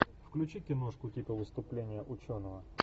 включи киношку типа выступление ученого